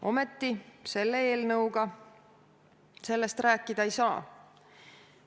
Ometi selle eelnõu puhul me sellest rääkida ei saa.